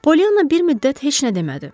Polyana bir müddət heç nə demədi.